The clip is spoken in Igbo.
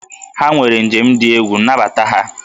Ha nwere njem dị egwu, nabata ha!